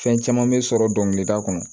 Fɛn caman bɛ sɔrɔ dɔnkilida kɔnɔ